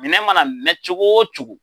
Minɛ mana mɛn cogo o cogo